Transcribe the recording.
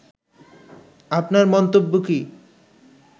আপনার মন্তব্য কী